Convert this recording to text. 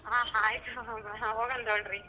ಹ ಆಯ್ತು ಹಾ ಹೋಗೋಣ್ ತಗೋಳ್ರಿ.